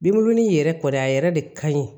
Binbulɔnin in yɛrɛ kɔni a yɛrɛ de ka ɲi